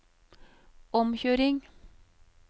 omkjøring